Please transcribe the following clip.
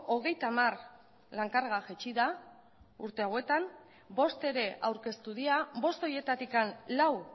hogeita hamar lan karga jaitsi da urte hauetan bost ere aurkeztu dira bost horietatik lau